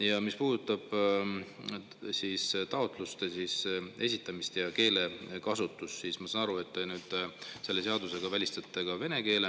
Ja mis puudutab taotluste esitamist ja keelekasutust, siis ma saan aru, et te nüüd selle seadusega välistate ka vene keele.